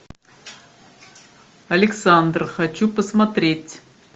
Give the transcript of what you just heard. александр хочу посмотреть